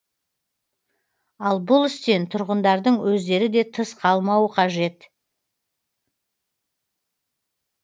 ал бұл істен тұрғындардың өздері де тыс қалмауы қажет